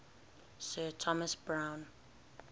sir thomas browne